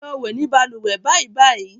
Lọ wẹ̀ ní balùwẹ̀ bàìbàì.